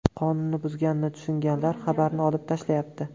Qonunni buzganini tushunganlar xabarni olib tashlayapti.